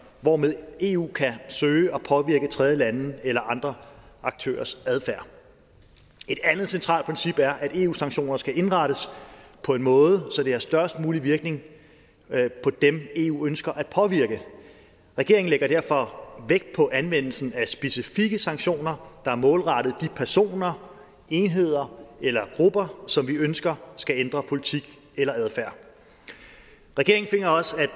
hvormed eu kan søge at påvirke tredjelandes eller andre aktørers adfærd et andet centralt princip er at eus sanktioner skal indrettes på en måde så de har størst mulige virkninger på dem eu ønsker at påvirke regeringen lægger derfor vægt på anvendelsen af specifikke sanktioner der er målrettet de personer enheder eller grupper som vi ønsker skal ændre politik eller adfærd regeringen finder også at